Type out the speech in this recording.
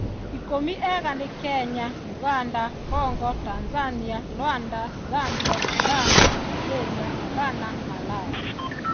Ikũmi ega nĩ Kenya, ũganda, Congo, Tanzania, Rwanda, Zambia, Zimbabwe, Nigeria, Ghana, Malawi